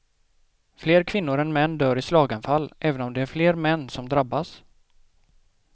Fler kvinnor än män dör i slaganfall, även om det är fler män som drabbas.